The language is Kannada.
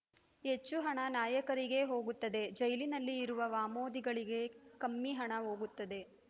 ಹೆಚ್ಚು ಹಣ ನಾಯಕರಿಗೇ ಹೋಗುತ್ತದೆ ಜೈಲಿನಲ್ಲಿ ಇರುವ ವಾಮೋದಿಗಳಿಗೆ ಕಮ್ಮಿ ಹಣ ಹೋಗುತ್ತದೆ